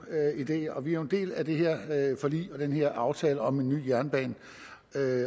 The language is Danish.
idé og vi er jo en del af det her forlig og den her aftale om en ny jernbane